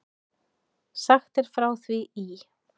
Sagt er frá því í